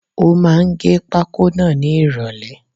Ó máà ń gẹ pákó náà ni ìròlẹ́.